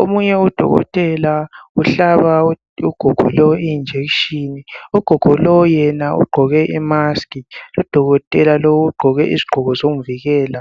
omunye udokotela uhlaba ugogo lo injection ugogo lo yena uqoke I mask udokotela lo uqoke isiqoko somvikela.